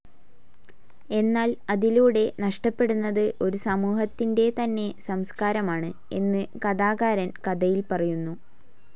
എന്നാൽ അതിലൂടെ നഷ്ടപ്പടുന്നത് ഒരു സമൂഹത്തിന്റെ തന്നെ സംസ്കാരമാണ് എന്ന് കഥാകാരൻ കഥയിൽ പറയുന്നു